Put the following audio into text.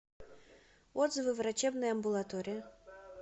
отзывы врачебная амбулатория